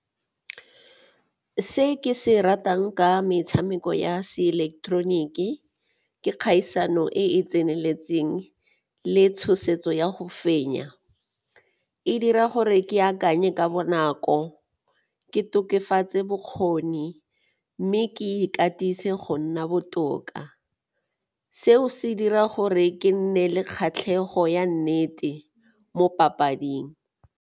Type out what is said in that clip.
Se ke se ratang ka metshameko ya seileketeroniki ke kgaisano e e tseneletseng le tshosetso ya go fenya, e dira gore ke akanye ka bonako, ke tokafatse bokgoni mme ke ikatise go nna botoka. Seo se dira gore ke nne le kgatlhego ya nnete mo papading.